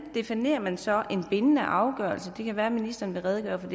definerer man så en bindende afgørelse det kan være ministeren vil redegøre for